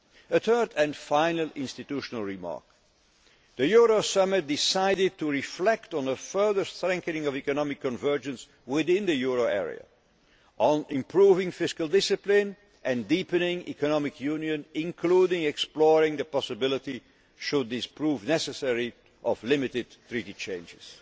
roles. A third and final institutional remark the Euro Summit decided to reflect on a further strengthening of economic convergence within the euro area and on improving fiscal discipline and deepening economic union, including exploring the possibility, should this prove necessary, of limited treaty